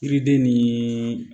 Yiriden ni